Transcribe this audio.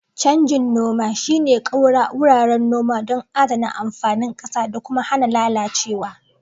Canjin noma shine ƙaura wuraren noma don adana amfanin ƙasa da kuma hana lalacewa.